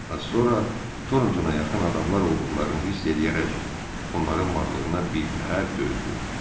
Az sonra Torntona yaxın adamlar olduqlarını hiss eləyərək onların varlığına birtəhər dözdü.